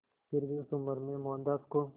फिर भी उस उम्र में मोहनदास को